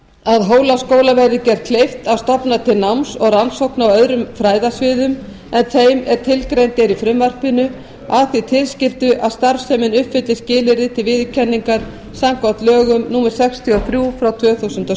að hólaskóla verði gert kleift að stofna til náms og rannsókna á öðrum fræðasviðum en þeim sem tilgreind eru í frumvarpinu að því tilskildu að starfsemin uppfylli skilyrði til viðurkenningar samkvæmt lögum númer sextíu og þrjú tvö þúsund og